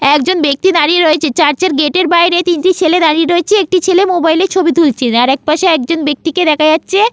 একজন বাক্তি দাঁড়িয়ে রয়েছে চার্চের গেটের বাইরে তিনটি ছেলে দাঁড়িয়ে রয়েছে একটি ছেলে মোবাইলে ছবি তুলছে। আর একপাশে আর একজন বাক্তিকে দেখা যাচ্ছে।